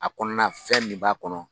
A kɔnɔna fɛn min b'a kɔnɔ.